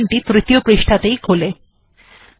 এখন ডকুমেন্ট টি খুললে তৃতীয় পৃষ্টা তেই খোলে